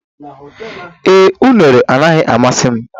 Ee, unere anaghị amasị m.